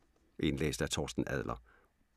Indlæst af: